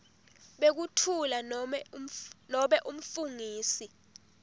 bekutfula nobe umfungisi